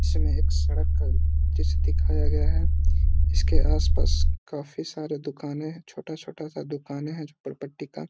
इसमें एक सड़क जैसे दिखाया गया है इसके आस-पास काफी सारे दुकानें हैं छोटा-छोटा सा दुकाने है झोपड़पट्टी का।